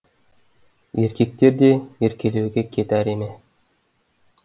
еркектер де еркелеуге кет әрі ме